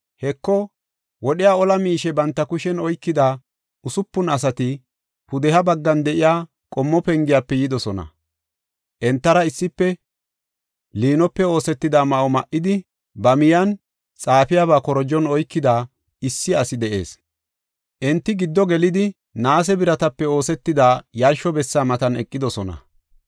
Heko, wodhiya ola miishe banta kushen oykida usupun asati, Pudeha baggan de7iya qommo pengiyafe yidosona. Entara issife liinope oosetida ma7o ma7idi, ba miyen xaafiyabaa korojon oykida issi asi de7ees. Enti giddo gelidi, naase biratape oosetida yarsho bessa matan eqidosona.